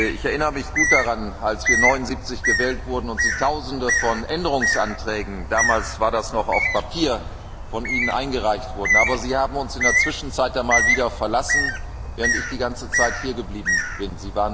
Ich erinnere mich gut daran, als wir 1979 gewählt wurden und Sie Tausende von Änderungsanträgen damals war das noch auf Papier eingereicht haben. Aber Sie haben uns in der Zwischenzeit einmal verlassen, während ich die ganze Zeit hiergeblieben bin.